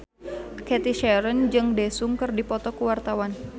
Cathy Sharon jeung Daesung keur dipoto ku wartawan